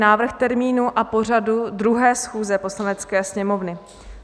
Návrh termínu a pořadu 2. schůze Poslanecké sněmovny